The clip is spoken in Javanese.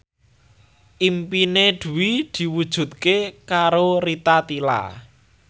impine Dwi diwujudke karo Rita Tila